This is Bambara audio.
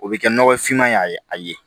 O bɛ kɛ nɔgɔfinma ye a ye